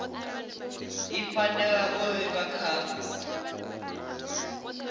i fanela u livha kha